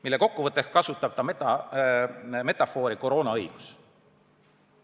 Selle kokkuvõtteks kasutab ta metafoori "koroonaõigus".